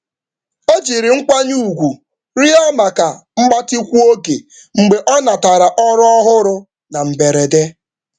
um Ọ jiri Ọ jiri nkwanye ùgwù rịọ maka mgbatị mgbe um ọ natara ọrụ ọhụrụ na mberede.